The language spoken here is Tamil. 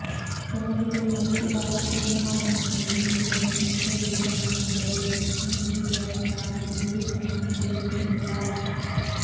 ஜனாதிபதி மைத்திரிபால சிறிசேன முன்னிலையில் நீதிபதி சந்திரா ஏக்கநாயக்க பதில் பிரதம நீதியரசராக பதவிப் பிரமாணம் செய்துகொண்டுள்ளார்